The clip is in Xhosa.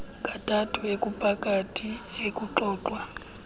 kathathu okuphakathi ekuxoxwa